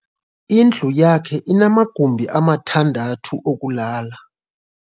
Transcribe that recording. Indlu yakhe inamagumbi amathandathu okulala.